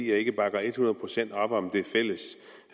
jeg ikke bakker et hundrede procent op om det fælles